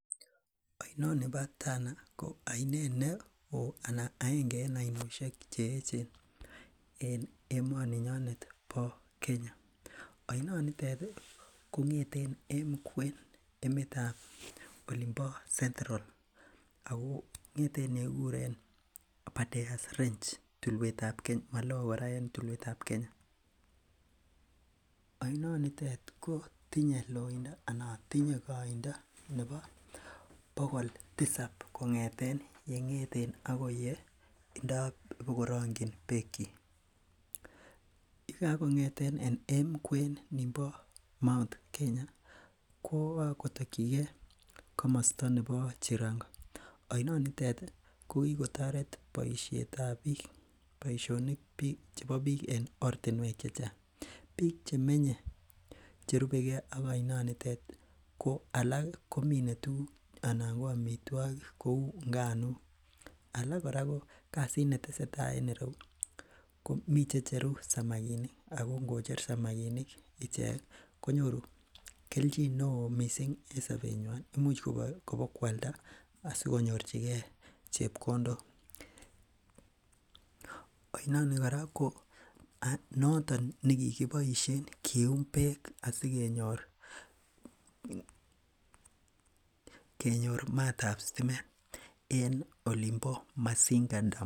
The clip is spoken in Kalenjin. oinnoni bo Tana ko oinet neoo anan aenge en oinoshek cheechen en emoni nyonet bo kenya oinonitet kongeten emkwen emetab olimpo sentrol ako ngeten yekikuren abadare range tulwetab kenya malo kora en tulwetab kenya oinointet kotinye loindo anan koindo nepo bokol tisab kongeten yengeten akoi ye indo bokorongyin beekik ye kangongeten en emkwen nimpo Mt Kenya kwo kotokyikee komosto nepo cherongo oinonitet kokikotoret boishetab biik boishonik chepo biik en ortinwek chechang biik chemenye cherubeke ak oinonitet alak komine tuguk anan ko amitwokik kou nganuk alak kora ko kasit netesetaa en ireyu komi checheru samakinik ako ngocher samakinik ichek konyoru kelchin neoo mising en sopenwany imuch kobokwalda sikonyorchikee chepkondok oinoni kora konoton nekikiboishen kiyum beek asikenyr maaatab sitimet en olimpo masinga dam